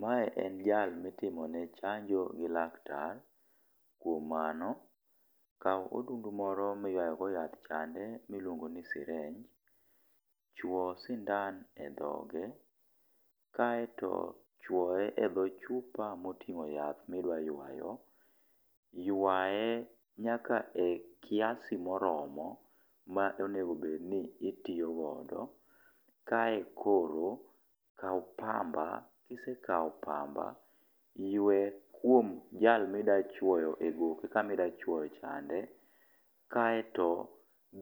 Mae en jal mitimone chanjo gi laktar. Kuom mano kaw odundu moro miyuayogo yath chande miluongo ni sirinj. Chuo sindan e dhoge kaeto chwoye e dho chupa moting'o yath midwa ywayo. Ywaye nyaka e kiasi moromo ma omedo bed ni itiyogodo. Kae koro kaw pamba. Kisekaw pamba, ywe kuom jal mi dwa chwoyo e goke kama idwa chwoyo chande. Kaeto